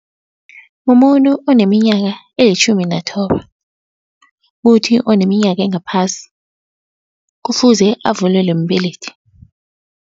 Mumuntu oneminyaka elitjhumi nathoba. Kuthi oneminyaka engaphasi, kufuze avulelwe mbelethi.